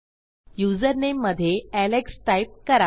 युजरनेममधे alexटाईप करा